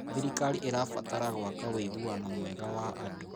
Thirikari ĩrabatara gwaka ũiguano mwega wa andũ.